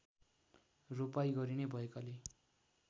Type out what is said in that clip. रोपाइँ गरिने भएकाले